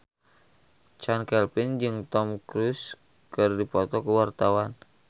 Chand Kelvin jeung Tom Cruise keur dipoto ku wartawan